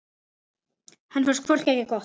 Henni fannst hvort tveggja gott.